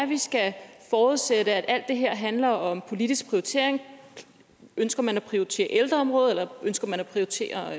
vi skal forudsætte at alt det her handler om politisk prioritering ønsker man at prioritere ældreområdet eller ønsker man at prioritere